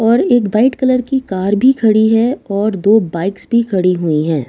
और एक white colour की कार भी खड़ी है और दो बाइक्स भी खड़ी हुई है।